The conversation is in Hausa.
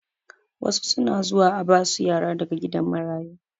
Wasu suna zuwa a basu yara daga gidan marayu